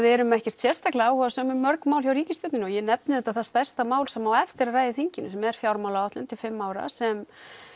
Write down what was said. erum ekkert sérstaklega áhugasöm um mörg mál hjá ríkisstjórninni og ég nefni auðvitað það stærsta mál sem á eftir að ræða í þinginu sem er fjármálaáætlun til fimm ára sem